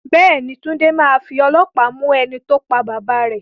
Bẹ́ẹ̀ ni, Túnde máa fi ọlọ́pàá mú ẹni tó pa bàbá rẹ